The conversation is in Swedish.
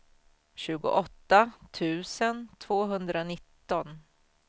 tjugoåtta tusen tvåhundranitton